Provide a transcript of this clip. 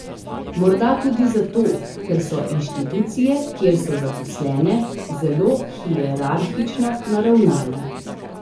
Morda tudi zato, ker so inštitucije, kjer so zaposlene, zelo hierarhično naravnane.